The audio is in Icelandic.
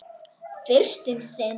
Fyrst um sinn.